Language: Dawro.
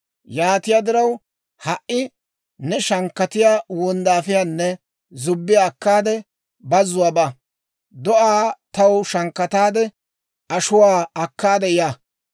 Yaatiyaa diraw, ha"i ne shankkatiyaa wonddaafiyaanne zubbiyaa akkaade, bazuwaa ba; do'aa taw shankkataade, ashuwaa akkaade ya.